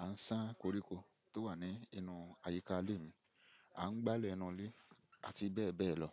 à ń ṣá koríko tó wà ní inú àyíká ilé mi, à ń gbálẹ̀ ẹnu ilé àti bẹ́ẹ̀ bẹ́ẹ̀ lọ.